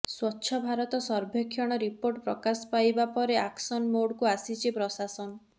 ସ୍ବଚ୍ଛ ଭାରତ ସର୍ଭେକ୍ଷଣ ରିପୋର୍ଟ ପ୍ରକାଶ ପାଇବାପରେ ଆକ୍ସନ ମୋଡକୁ ଆସିଛି ପ୍ରଶାସନ